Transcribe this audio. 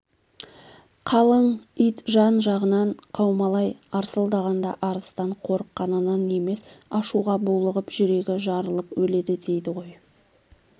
қалың ит жан-жағынан қаумалай арсылдағанда арыстан қорыққанынан емес ашуға булығып жүрегі жарылып өледі дейді ғой